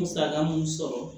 Musaka mun sɔrɔ